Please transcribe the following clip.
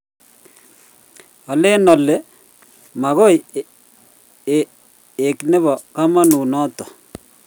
alen ale magoi ek nebo kamanut notok